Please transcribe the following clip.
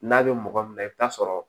N'a bɛ mɔgɔ min na i bɛ taa sɔrɔ